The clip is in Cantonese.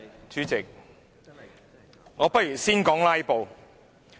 主席，我不如先說"拉布"。